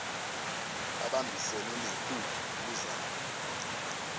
babambisene newho kuzama